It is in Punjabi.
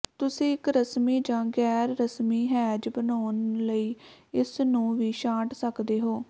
ਤੁਸੀਂ ਇਕ ਰਸਮੀ ਜਾਂ ਗੈਰ ਰਸਮੀ ਹੈਜ ਬਣਾਉਣ ਲਈ ਇਸ ਨੂੰ ਵੀ ਛਾਂਟ ਸਕਦੇ ਹੋ